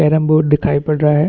Carrom board दिखाई पड़ रहा है।